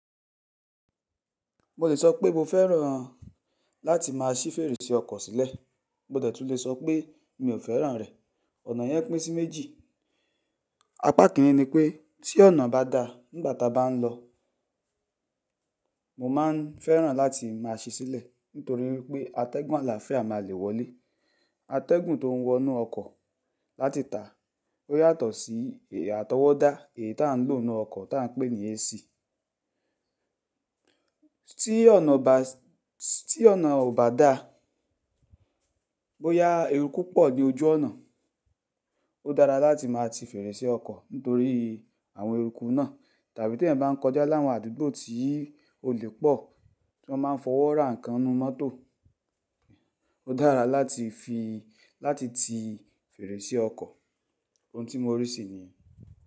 Mo lè sọ pé mo fẹ́ràn-an láti má a ṣí fèrèsé ọkọ̀ sílẹ̀, mo de tún lè sọ pé mi ò fẹ́ràn rẹ̀. Ọ̀nà yẹn pín sí méjì. Apá kìnní ni pé tí ọ̀nà bá da nígbà ta bá n lọ, mo má a fẹ́ràn láti má a sí sílẹ̀ nítorí wípé atẹ́gùn àlàáfíà máa le wọlé. Atẹ́gùn tó ń wọnú ọkọ̀ láti tà o yàtọ̀ sí àtọwọ́dá èyí ta ń lò ó ninú ọkọ̀ ta ń pè ní AC. Tí ọ̀nà bá, tí ọ̀nà ò bá da, bóyá eruku pọ̀ ní ojú ọ̀nà, ó dára láti má a ti fèrèsé ọkọ̀ nítorí àwọn eruku náà tàbí tí eẹ̀yan bá n kọjá láwọn àdúgbò tí olè pọ̀, tí wọ́n máa n fọwọ́ ra nǹkan ninú mọ́tò, ó dára láti fi láti ti fèrèsé ọkọ̀. Ohun tí mo rí sì niyi.